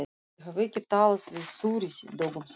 Ég hef ekki talað við Þuríði dögum saman.